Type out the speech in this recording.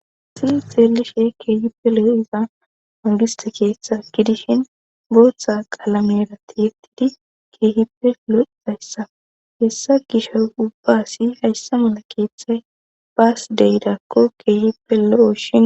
Ta xeellishe keehippe lo7o iza angista keeththa gidishin booththa qalamerati yettidi keehippe lo7izayssa hessa gisho ubbaasi hayssa mala keeththay baas deyidakko keehippe lo7oshin